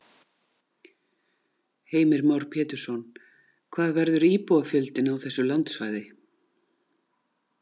Heimir Már Pétursson: Hvað verður íbúafjöldinn á þessu landsvæði?